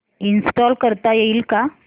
install करता येईल का